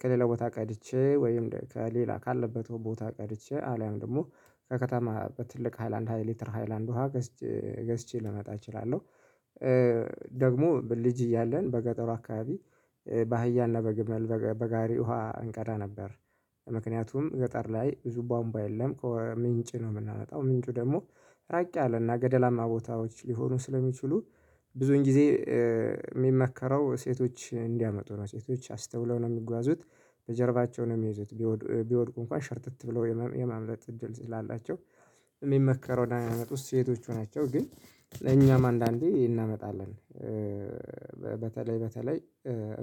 ከሌላ ቦታ ቀድቼ ወይም ከሌላ ካለበት ቦታ ቀድቼ አለያም ደግሞ ከከተማ በትልቅ ሃይላንድ ሃይሊትር ሃይላንድ ውሃ ገዝቼ ልመጣ እችላለሁ። ደግሞ ልጅ እያለን በገጠሩ አካባቢ በአህያና በግመል በጋሪ ውሃ እንቀዳ ነበር። ምክንያቱም ገጠር ላይ ብዙ ቧንቧ የለም ከምንጭ ነው የምናመጣው ምንጩ ደግሞ ራቅ ያለና ገደላማ ቦታዎች ሊሆኑ ስለሚችሉ። ብዙን ጊዜ የሚመከረው ሴቶች እንዲያመጡ ነው ሴቶች አስተውለው ነው የሚጓዙት። በጀርባቸው ነው የሚይዙት ቢወድቁ እንኳን ሽርተት ብለው የማምለጥ እድል ስላላቸው። የሚመከረው እንድያመጡ ሴቶቹ ናቸው። ግን ለኛም አንዳንዴ እናመጣለን። በተለይ በተለይ